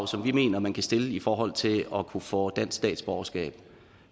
som vi mener man kan stille i forhold til at kunne få dansk statsborgerskab